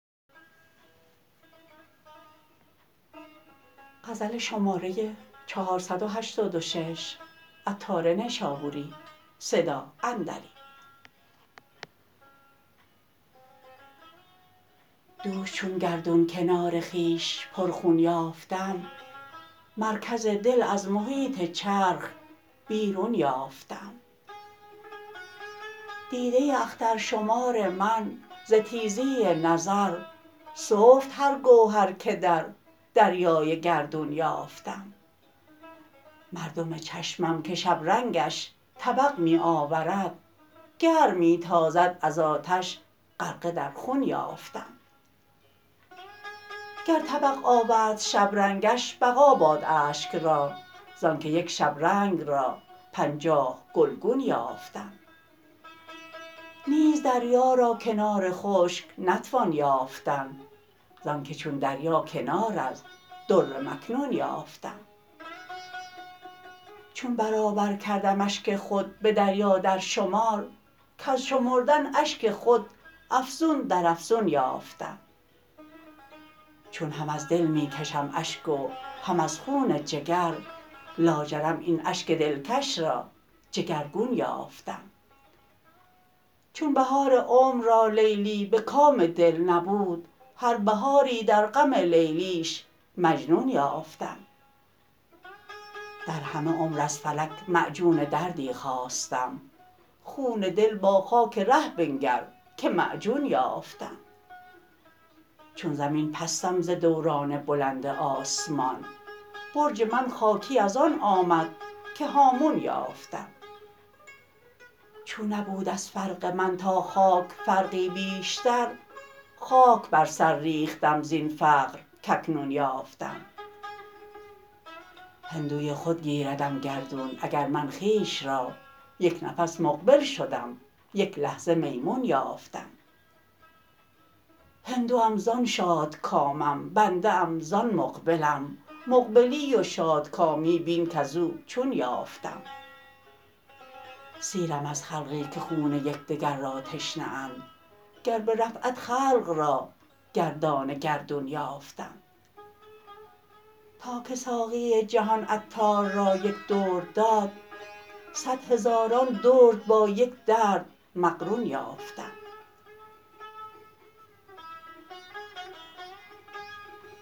دوش چون گردون کنار خویش پر خون یافتم مرکز دل از محیط چرخ بیرون یافتم دیده اخترشمار من ز تیزی نظر سفت هر گوهر که در دریای گردون یافتم مردم چشمم که شبرنگش طبق می آورد گرم می تازد از آتش غرقه در خون یافتم گر طبق آورد شبرنگش بقا باد اشک را زانکه یک شبرنگ را پنجاه گلگون یافتم نیز دریا را کنار خشک نتوان یافتن زانکه چون دریا کنار از در مکنون یافتم چون برابر کردم اشک خود به دریا در شمار کژ شمردن اشک خود افزون در افزون یافتم چون هم از دل می کشم اشک و هم از خون جگر لاجرم این اشک دلکش را جگرگون یافتم چون بهار عمر را لیلی به کام دل نبود هر بهاری در غم لیلیش مجنون یافتم در همه عمر از فلک معجون دردی خواستم خون دل با خاک ره بنگر که معجون یافتم چون زمین پستم ز دوران بلند آسمان برج من خاکی از آن آمد که هامون یافتم چون نبود از فرق من تا خاک فرقی بیشتر خاک بر سر ریختم زین فرق کاکنون یافتم هندوی خود گیردم گردون اگر من خویش را یک نفس مقبل شدم یک لحظه میمون یافتم هندوم زان شادکامم بنده ام زان مقبلم مقبلی و شاد کامی بین کزو چون یافتم سیرم از خلقی که خون یکدگر را تشنه اند گر به رفعت خلق را گردان گردون یافتم تا که ساقی جهان عطار را یک درد داد صد هزاران درد با یک درد مقرون یافتم